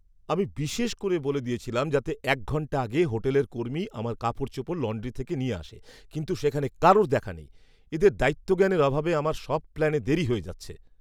আমি বিশেষ করে বলে দিয়েছিলাম যাতে এক ঘন্টা আগে হোটেলের কর্মী আমার কাপড়চোপড় লন্ড্রি থেকে নিয়ে আসে কিন্তু সেখানে কারুর দেখা নেই! এদের দায়িত্বজ্ঞানের অভাবে আমার সব প্ল্যানে দেরি হয়ে যাচ্ছে!